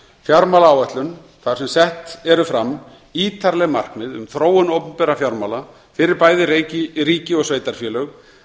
fjármálaáætlun þar sem sett eru fram ítarleg markmið um þróun opinberra fjármála fyrir bæði ríki og sveitarfélög